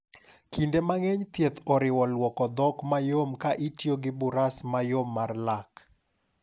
Kinde mang’eny thieth oriwo lwoko dhok mayom ka itiyo gi buras mayom mar lak.